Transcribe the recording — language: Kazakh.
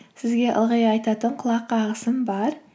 сізге ылғи айтатын құлақ қағысым бар